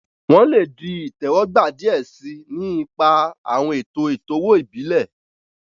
Wọn le di itẹwọgba diẹ sii, ni ipa awọn eto eto-owo ibile.